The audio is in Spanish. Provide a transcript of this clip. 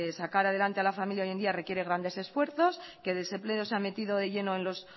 sacar adelante a la familia hoy en día requiere grandes esfuerzos que el desempleo se ha metido de lleno en los